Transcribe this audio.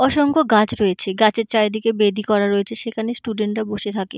অসংখ্য গাছ রয়েছে গাছের চারিদিকে বেদি করা রয়েছে সেখানে স্টুডেন্ট রা বসে থাকে।